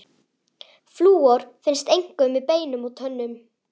Flúor finnst einkum í beinum og tönnum.